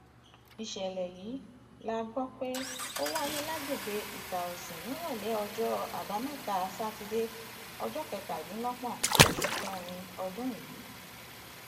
ìṣẹlẹ yìí la gbọ pé ó wáyé lágbègbè itàòsìn nírọlẹ ọjọ àbámẹta sátidé ọjọ kẹtàdínlọgbọn oṣù kẹrin ọdún yìí